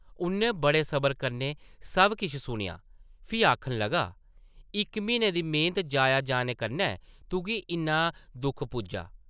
उʼन्नै बड़े सबर कन्नै सब किश सुनेआ, फ्ही आखन लगा, इक म्हीने दी मेहनत जाया जाने कन्नै तुगी इन्ना दुख पुज्जा?